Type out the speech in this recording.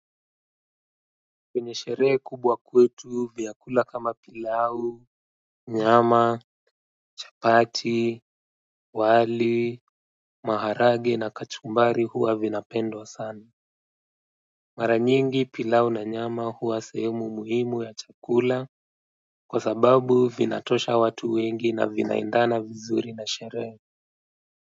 Kwenye sherehe kubwa kwetu vyakula kama pilau, nyama, chapati, wali, maharagwe na kachumbari huwa vinapendwa sana mara nyingi pilau na nyama huwa sehemu muhimu ya chakula kwa sababu vinatosha watu wengi na vinaendana vizuri na sherehe.